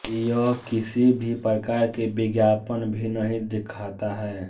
यह किसी भी प्रकार के विज्ञापन भी नहीं दिखाता है